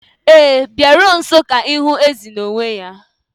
Ee, Biko bịaruo nso ka ịhụ ezi n'onwe ya.